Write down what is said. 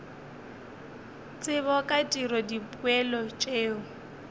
tsebo ka tiro dipoelo tšeo